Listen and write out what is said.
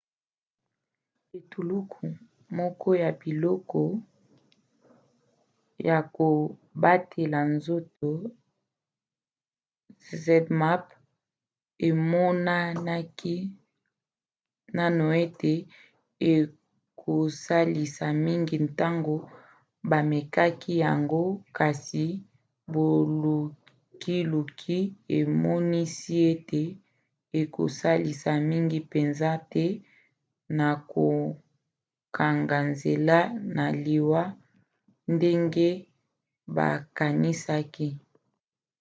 etuluku moko ya biloko ya kobatela nzoto zmapp emonanaki naino ete ekosalisa mingi ntango bamekaki yango kasi bolukiluki emonisi ete ekosalisa mingi mpenza te na kokanga nzela na liwa ndenge bakanisaki